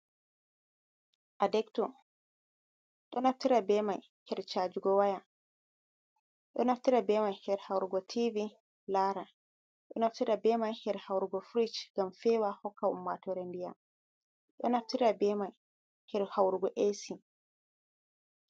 Adabto, ɗon naftira bemai hedi cajugo woya, ɗon naftira bemai hedi hawrugo tivi lara, ɗon naftira bemai hedi hawrugo firis ngam feewa sei hokka ummatoore diyam pewɗam, ɗon naftira bemai hedi hawrugo ehsi.